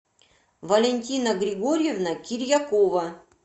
валентина георгиевна кирьякова